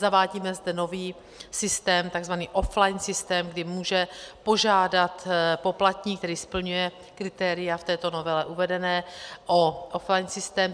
Zavádíme zde nový systém, tzv. offline systém, kdy může požádat poplatník, který splňuje kritéria v této novele uvedená, o offline systém.